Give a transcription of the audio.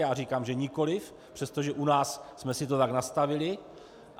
Já říkám že nikoliv, přestože u nás jsme si to tak nastavili.